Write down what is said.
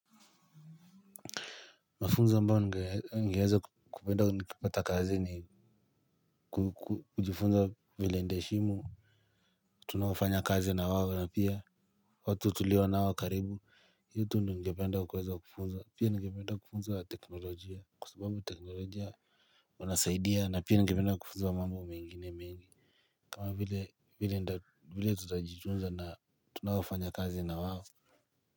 Mafunzo ambao ningeweza kupenda nikipata kazi ni kujifunza vile nitaheshimu tunaofanya kazi na wao na pia watu tulio nao karibu hii tu ndio ningependa kuweza kufunzwa pia ningependa kufunzwa teknolojia kwa sababu teknolojia wanasaidia na pia ningependa kufunzwa mambo mengine mingi kama vile tutajitunza na tunaofanya kazi na wao.